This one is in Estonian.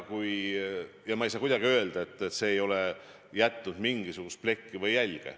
Ma ei saa kuidagi öelda, et see ei ole jätnud mingisugust plekki või jälge.